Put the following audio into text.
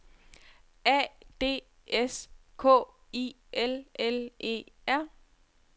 A D S K I L L E R